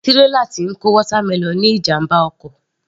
Tírélà tí ń kó watermelon ní ìjàmbá ọkọ̀